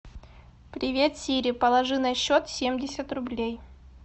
привет сири положи на счет семьдесят рублей